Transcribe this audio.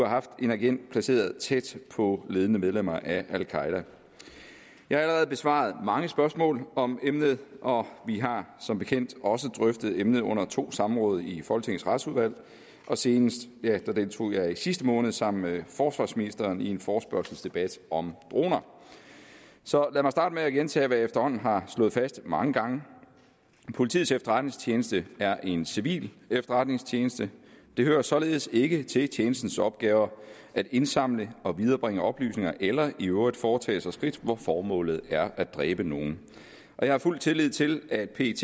haft en agent placeret tæt på ledende medlemmer af al qaeda jeg har allerede besvaret mange spørgsmål om emnet og vi har som bekendt også drøftet emnet under to samråd i folketingets retsudvalg og senest deltog jeg i sidste måned sammen med forsvarsministeren i en forespørgselsdebat om droner så lad mig starte med at gentage hvad jeg efterhånden har slået fast mange gange politiets efterretningstjeneste er en civil efterretningstjeneste det hører således ikke til tjenestens opgaver at indsamle og viderebringe oplysninger eller i øvrigt foretage skridt hvor formålet er at dræbe nogen jeg har fuld tillid til at pet